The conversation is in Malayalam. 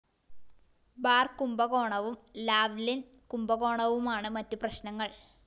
ബാർ കുംഭകോണവും ലാവ്‌ലിന്‍ കുംഭകോണവുമാണ് മറ്റ് പ്രശ്‌നങ്ങള്‍